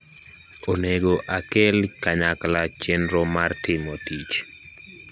onego akel kanyakla chenro mar timo tich